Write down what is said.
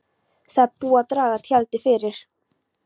Það er búið að draga tjaldið fyrir.